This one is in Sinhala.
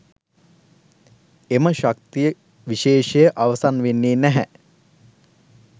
එම ශක්ති විශේෂය අවසන් වෙන්නේ නැහැ.